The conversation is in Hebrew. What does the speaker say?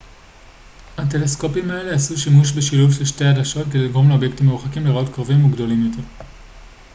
הטלסקופים האלה עשו שימוש בשילוב של שתי עדשות כדי לגרום לאובייקטים מרוחקים להיראות קרובים וגדולים יותר